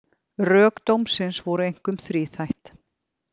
Rök dómsins voru einkum þríþætt